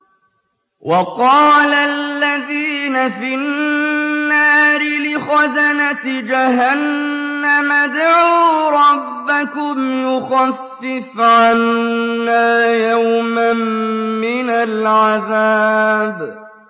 وَقَالَ الَّذِينَ فِي النَّارِ لِخَزَنَةِ جَهَنَّمَ ادْعُوا رَبَّكُمْ يُخَفِّفْ عَنَّا يَوْمًا مِّنَ الْعَذَابِ